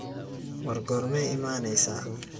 War gormey iimaneysa.